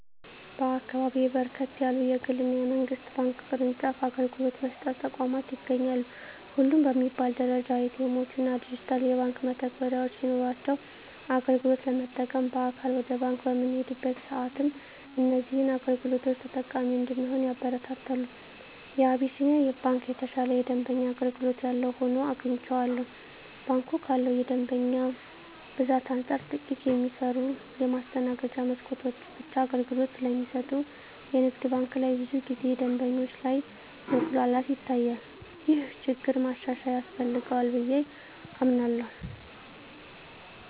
በአካባቢየ በርከት ያሉ የግል እና የመንግስት ባንክ ቅርጫፍ አገልግሎት መስጫ ተቋማት ይገኛሉ። ሁሉም በሚባል ደረጃ ኤ.ቲ. ኤምዎች እና ዲጂታል የባንክ መተግበሪያዎች ሲኖሯቸው አገልግሎት ለመጠቀም በአካል ወደ ባንክ በምንሄድበት ሰአትም እዚህን አገልግሎቶች ተጠቃሚ እንድንሆን ያበረታታሉ። የአቢስንያ ባንክ የተሻለ የደንበኛ አገልግሎት ያለው ሆኖ አግኝቸዋለሁ። ባንኩ ካለው የደንበኛ ብዛት አንፃር ጥቂት የሚሰሩ የማስተናገጃ መስኮቶች ብቻ አገልግሎት ስለሚሰጡ የንግድ ባንክ ላይ ብዙ ጊዜ ደንበኞች ላይ መጉላላት ይታያል። ይህ ችግር ማሻሻያ ያስፈልገዋል ብየ አምናለሁ።